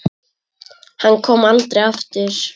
Hann kom aldrei aftur.